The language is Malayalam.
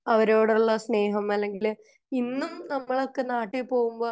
അവരോടുള്ള സ്നേഹം അല്ലെങ്കിൽ ഇന്നും നമ്മൾ ഒക്കെ നാട്ടിൽ പോവുമ്പോ